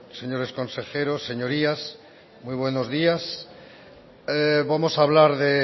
señores consejeros señorías muy buenos días vamos a hablar de